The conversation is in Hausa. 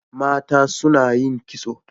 Mata suna yin kitso.